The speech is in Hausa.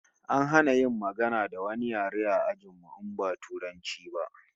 An hana magana da wani yare a ajin mu in ba Turanci ba